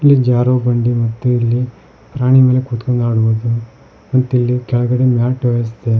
ಇಲ್ಲಿ ಜಾರೊ ಬಂಡಿ ಮತ್ತೆ ಇಲ್ಲಿ ಪ್ರಾಣಿ ಮೇಲೆ ಕೂತ್ಕೊಂಡ್ ಆಡುವುದು ಮತ್ ಇಲ್ಲಿ ಕೆಳಗಡೆ ಮ್ಯಾಟ್ ವ್ಯವಸ್ಥೆ--